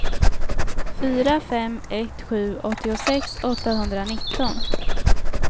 fyra fem ett sju åttiosex åttahundranitton